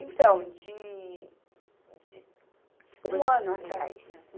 Então, de, de, um ano atrás. É